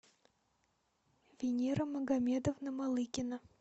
венера магомедовна малыкина